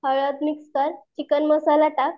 हळद मिक्स कर, चिकन मसाला टाक.